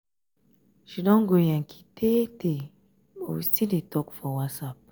she don go yankee tee tee but we still dey talk for whatsapp.